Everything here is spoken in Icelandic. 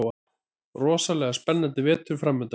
Rosalega spennandi vetur framundan